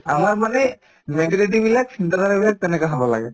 আমাৰ মানে majority বিলাক তেনেকা হব লাগে